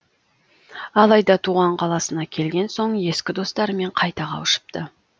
алайда туған қаласына келген соң ескі достарымен қайта қауышыпты